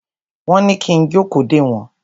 Wọ́n ní kí n jókòó dè wọ́n.